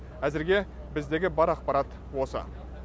әзірге біздегі бар ақпарат осы